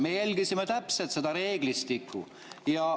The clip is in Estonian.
Me järgisime täpselt seda reeglistikku.